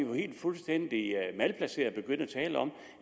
fuldstændig malplaceret at begynde at tale om